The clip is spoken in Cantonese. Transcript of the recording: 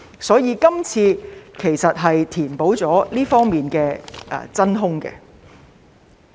所以，今次其實是想填補這方面的真空。